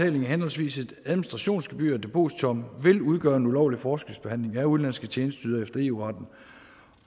af henholdsvis et administrationsgebyr og et depositum vil udgøre en ulovlig forskelsbehandling af udenlandske tjenesteydere efter eu retten